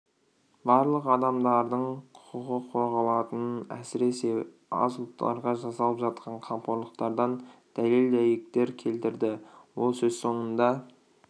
барлық адамдардың құқығы қорғалатынын әсіресе аз ұлттарға жасалып жатқан қамқорлықтардан дәлел-дәйектер келтірді ол сөз соңында